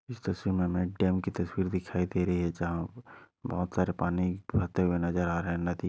इस तस्वीर मे हमे एक डैम की तस्वीर दिखाई दे रही है जहा बहुत सारे पानी बहते हुए नजर आ रहा है। नदी--